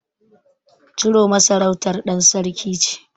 Chiroma sarautar ɗan sarki ce.